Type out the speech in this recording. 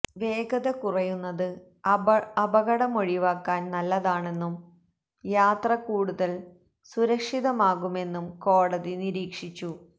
വേഗത കുറയുന്നത് അപകടമൊഴിവാക്കാന് നല്ലതാണെന്നും യാത്ര കൂടുതല് സുരക്ഷിതമാകുമെന്നും കോടതി നിരീക്ഷിച്ചു